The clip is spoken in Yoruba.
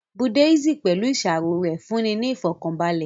Búdíìsì, pẹ̀lú ìṣàrò rẹ̀ fún'ni ní ìfọ̀kànbalẹ̀